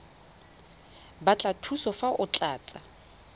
batla thuso fa o tlatsa